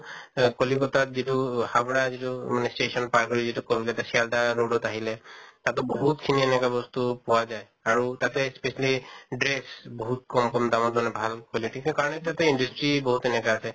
অ কলিকত্তাত যিটো হাউৰা যিটো মানে station পাৰ হৈ যিটো কলকাত্তা ছেল্দা road ত আহিলে, তাতো বহুত খিনি এনেকা বস্তু পোৱা যায়। আৰু তাতে specially dress বহুত কম কম দামত মানে ভাল quality তোৰ কাৰণে তো industry বহুত এনেকা আছে।